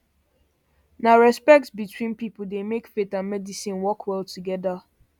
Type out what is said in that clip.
na respect between people dey make faith and medicine work well together